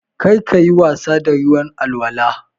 Kar ka yi wasa da ruwan alwala.